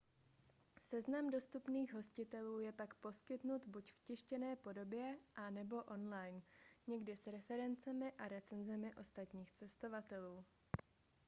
seznam dostupných hostitelů je pak poskytnut buď v tištěné podobě a/nebo online někdy s referencemi a recenzemi ostatních cestovatelů